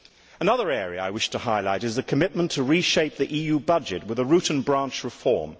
Another area I wish to highlight is the commitment to reshape the EU budget with a root and branch reform.